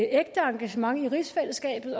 ægte engagement i rigsfællesskabet